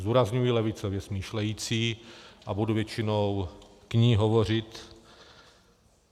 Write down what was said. Zdůrazňuji levicově smýšlející a budu většinou k ní hovořit.